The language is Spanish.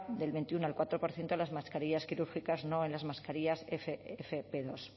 del veintiuno al cuatro por ciento de las mascarillas quirúrgicas no en las mascarillas efe efe pe dos